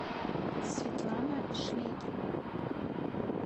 светлана шлегель